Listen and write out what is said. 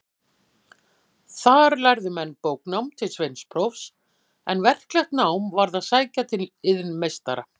Þar lærðu menn bóknám til sveinsprófs, en verklegt nám varð að sækja til iðnmeistara.